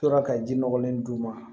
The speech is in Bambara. Tora ka ji nɔgɔlen d'u ma